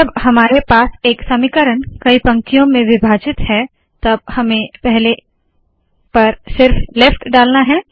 जब हमारे पास एक समीकरण कई पंक्तियों में विभाजित है तब हमें पहले पर सिर्फ लेफ्ट डालना है